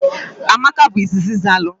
Amaka bu izizi zalu.